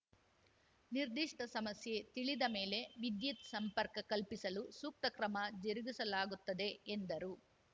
ನಿರ್ದಿಷ್ಟಸಮಸ್ಯೆ ತಿಳಿದ ಮೇಲೆ ವಿದ್ಯುತ್‌ ಸಂಪರ್ಕ ಕಲ್ಪಿಸಲು ಸೂಕ್ತ ಕ್ರಮ ಜರುಗಿಸಲಾಗುತ್ತದೆ ಎಂದರು